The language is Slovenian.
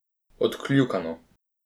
Odkljukano.